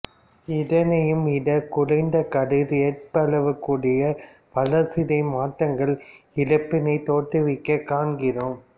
இதனையும் விட குறைந்த கதிர் ஏற்பளவு கூட வளர்சிதை மாற்றங்களை இறப்பினைத் தோற்றுவிக்கக் காண்கிறோம்